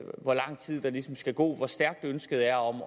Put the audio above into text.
hvor lang tid der ligesom skal gå hvor stærkt ønsket er om